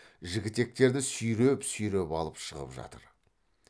жігітектерді сүйреп сүйреп алып шығып жатыр